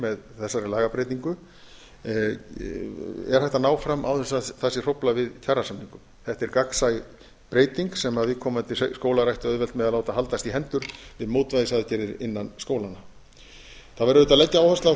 með þessari lagabreytingu er hægt að ná fram án þess að það sé hróflað við kjarasamningum þetta er gagnsæ breyting sem viðkomandi skólar ættu auðvelt með að láta haldast í hendur við mótvægisaðgerðir innan skólanna það verður auðvitað að leggja áherslu á